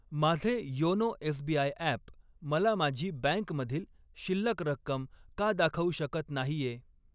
माझे YONO SBI app मला माझी बँकमधील शिल्लक रक्कम का दाखवू शकत नाहीये?